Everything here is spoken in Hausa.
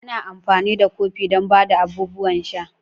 Ana amfani da kofin don ba da abubuwan sha.